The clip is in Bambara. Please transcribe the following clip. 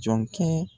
Jɔn kɛ